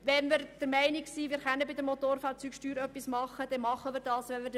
Wenn wir der Meinung sind, wir müssten die Motorfahrzeugsteuer anpassen, dann sollten wir das tun können.